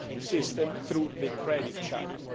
system, through the credit channel.